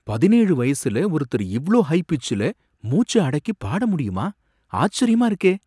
பதினேழு வயசுல ஒருத்தர் இவ்ளோ ஹை பிச்சுல மூச்ச அடக்கி பாட முடியுமா ஆச்சரியமா இருக்கே